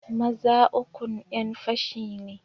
Maza ukun yanfashi ne.